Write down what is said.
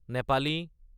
Nepali